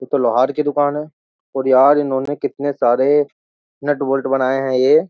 ये तो लोहार की दुकान है और यार इन्होंने कितने सारे नट बोल्ट बनाए हैं ये --